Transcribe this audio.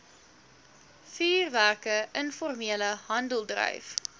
vuurwerke informele handeldryf